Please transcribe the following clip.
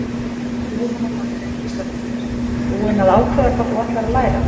Jóhanna Margrét Gísladóttir: Búin að ákveða hvað þú ætlar að læra?